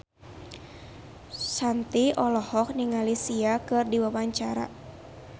Shanti olohok ningali Sia keur diwawancara